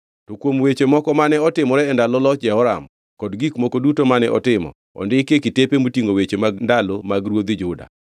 To kuom weche moko mane otimore e ndalo loch Jehoram, kod gik moko duto mane otimo, ondiki e kitepe motingʼo weche mag ndalo mag ruodhi Juda.